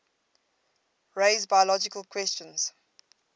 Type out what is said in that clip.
raise biological questions